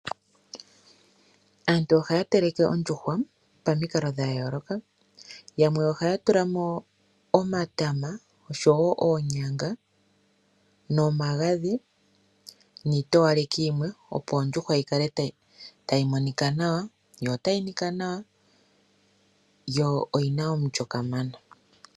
Aantu ohaya teleke ondjuhwa pamikalo dha yooloka yamwe ohaya tulamo omatama oshowo oonyanga nomagadhi niitowaleki yimwe opo ondjuhwa yi kale tayi monika nawa yo tayi nika nawa yo oyi na omulyo kamana.